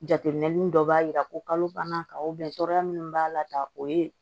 Jateminɛli dɔ b'a jira ko kalo banna ka tɔɔrɔya minnu b'a la tan o ye